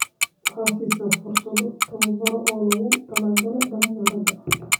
Waxaad siisaa fursado tababar oo loogu talagalay dhalinyarada.